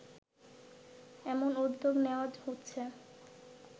এমন উদ্যোগ নেওয়া হচ্ছে